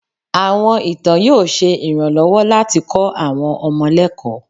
Àwọn ìtàn yóò ṣe iranlowo latí kó àwọn ọmọ lẹkó.